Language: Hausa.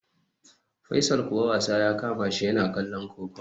Faisal kuwa wasa ya kamashi, yana kallon kokawa